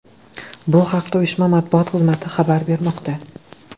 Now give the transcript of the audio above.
Bu haqda uyushma matbuot xizmati xabar bermoqda .